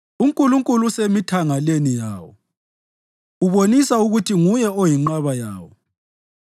UNkulunkulu usemithangaleni yawo; ubonisa ukuthi nguye oyinqaba yawo.